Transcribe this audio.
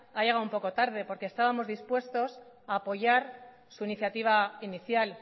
ha llegado un poco tarde porque estábamos dispuestos a apoyar su iniciativa inicial